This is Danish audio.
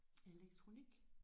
Elektronik